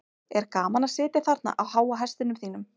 er gaman að sitja þarna á háa hestinum þínum